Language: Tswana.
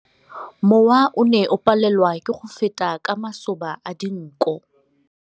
Mowa o ne o palelwa ke go feta ka masoba a dinko.